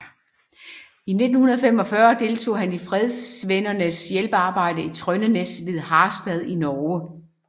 I 1945 deltog han i Fredsvennernes Hjælpearbejde i Trøndenæs ved Harstad i Norge